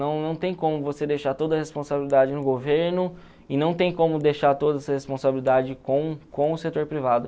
Não não tem como você deixar toda a responsabilidade no governo e não tem como deixar toda essa responsabilidade com com o setor privado.